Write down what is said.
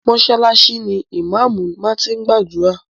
Mọ́ṣálásí ni ìmáámù máa ti gbàdúrà.